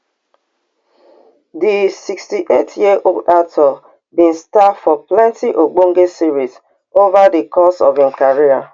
di sixty-eight year old actor bin star for plenti ogbonge series ova di course of im career